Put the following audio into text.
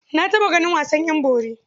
Na taɓa ganin wasan ƴan bori.